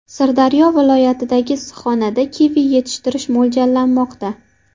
Sirdaryo viloyatidagi issiqxonada kivi yetishtirish mo‘ljallanmoqda.